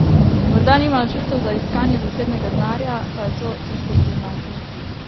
Morda nima načrtov za iskanje zasebnega denarja pa je to težko priznati?